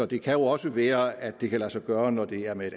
det kan jo også være at det kan lade sig gøre når det er med